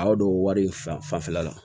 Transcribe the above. A y'o don wari in fanfɛla la